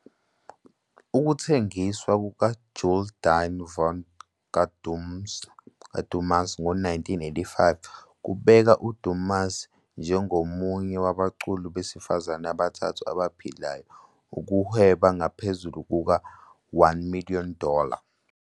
Ukuthengiswa "kukaJule-die Vrou kaDumas," ngo-1985, "kubeke" uDumas njengomunye wabaculi besifazane abathathu abaphilayo ukuhweba ngaphezulu kuka- 1 million dollar.